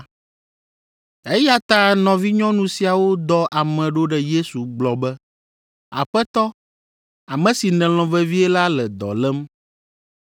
Eya ta nɔvinyɔnu siawo dɔ ame ɖo ɖe Yesu gblɔ be, “Aƒetɔ, ame si nèlɔ̃ vevie la le dɔ lém.”